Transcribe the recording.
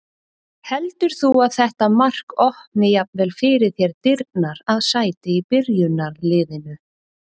Heldur þú að þetta mark opni jafnvel fyrir þér dyrnar að sæti í byrjunarliðinu?